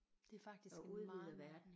Det er faktisk en meget